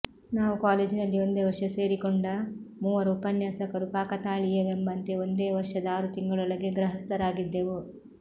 ನಾವು ಕಾಲೇಜಿನಲ್ಲಿ ಒಂದೇ ವರ್ಷ ಸೇರಿಕೊಂಡ ಮೂವರು ಉಪನ್ಯಾಸಕರು ಕಾಕತಾಳೀಯವೆಂಬಂತೆ ಒಂದೇ ವರ್ಷದ ಆರು ತಿಂಗಳೊಳಗೆ ಗೃಹಸ್ಥರಾಗಿದ್ದೆವು